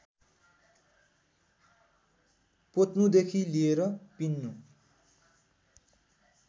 पोत्नुदेखि लिएर पिन्नु